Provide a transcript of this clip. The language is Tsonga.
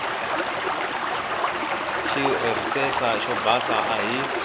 xireresa xo basa a hi